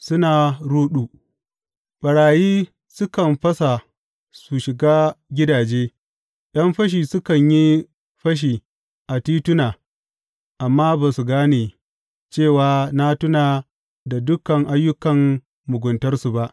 Suna ruɗu, ɓarayi sukan fasa su shiga gidaje, ’yan fashi sukan yi fashi a tituna; amma ba su gane cewa na tuna da dukan ayyukan muguntarsu ba.